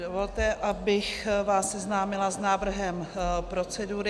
Dovolte, abych vás seznámila s návrhem procedury.